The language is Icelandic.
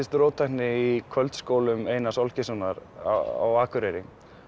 róttækni í kvöldskólum Einars Olgeirssonar á Akureyri